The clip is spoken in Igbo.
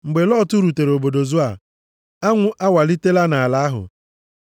Mgbe Lọt rutere obodo Zoa, anwụ awalitela nʼala ahụ.